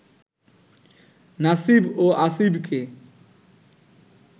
নাসিব ও আসিবকে